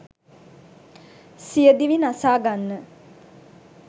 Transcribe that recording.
සියදිවි නසා ගන්න.